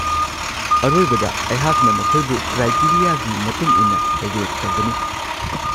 ꯑꯔꯣꯏꯕꯗ ꯑꯩꯍꯥꯛꯅ ꯃꯈꯣꯏꯕꯨ ꯀ꯭ꯔꯥꯏꯇꯦꯔꯤꯌꯥꯒꯤ ꯃꯇꯨꯡ ꯏꯟꯅ ꯔꯦꯠ ꯇꯧꯒꯅꯤ꯫